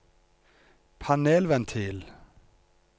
panelventil